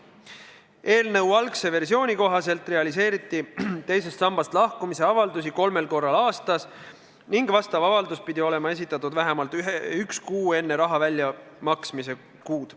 Eelnõu algse versiooni kohaselt realiseeriti teisest sambast lahkumise avaldusi kolmel korral aastas ning see avaldus pidi olema esitatud vähemalt üks kuu enne raha väljamaksmise kuud.